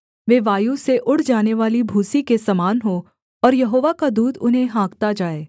वे वायु से उड़ जानेवाली भूसी के समान हों और यहोवा का दूत उन्हें हाँकता जाए